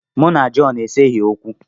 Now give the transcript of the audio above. Mụ na Jọn eseghị okwu.